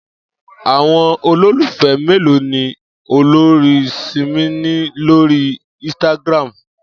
Àwo̩n olólùfé̩ mélòó ni olórin Simi ní lórí instagram?